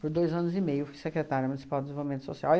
Por dois anos e meio eu fui secretária Municipal de Desenvolvimento Social.